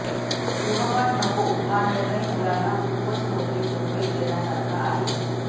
गृहपाठ नको हा निर्णय मुलांना खूपच मोठी मोकळीक देण्यासारखा आहे